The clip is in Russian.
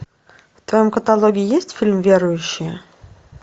в твоем каталоге есть фильм верующие